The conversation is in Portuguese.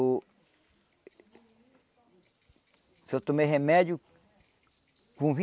Uh só tomei remédio com